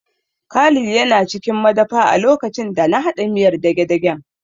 Khalid yana cikin madafa a lokacin da na haɗa miyar dagedagen